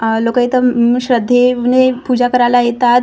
अह लोकं इथं उम श्रध्देने पूजा करायला येतात.